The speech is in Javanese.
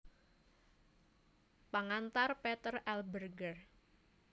Pengantar Peter L Berger